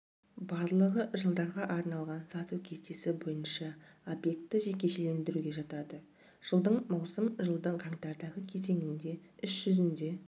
барлығы жылдарға арналған сату кестесі бойынша объекті жекешелендіруге жатады жылдың маусым жылдың қаңтардағы кезеңінде іс жүзінде